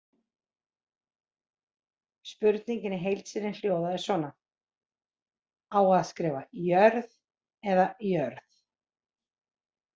Spurningin í heild sinni hljóðaði svona: Á að skrifa Jörð eða jörð?